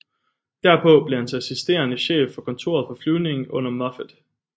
Derpå blev han assisterende chef for kontoret for flyvning under Moffett